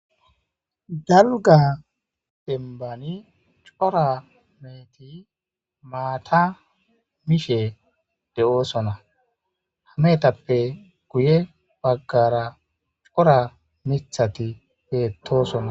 Dalga demban c'ora meheti mata mishe de'osona ha mehetappe guye bagara c'ora mitati betosona.